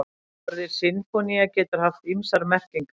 Orðið sinfónía getur haft ýmsar merkingar.